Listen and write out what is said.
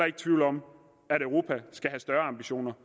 ikke tvivl om at europa skal have større ambitioner